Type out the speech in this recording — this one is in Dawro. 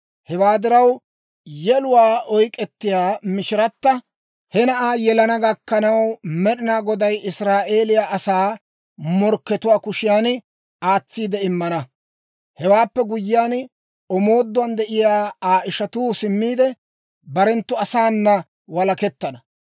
Hewaa diraw, yeluwaa oyk'k'ettiyaa mishiratta he na'aa yelana gakkanaw, Med'ina Goday Israa'eeliyaa asaa morkkatuwaa kushiyan aatsiide immana. Hewaappe guyyiyaan, omooduwaan de'iyaa Aa ishatuu simmiide, barenttu asaana walakettana.